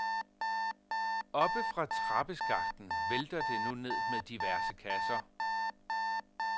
Oppefra trappeskakten vælter det nu ned med diverse kasser.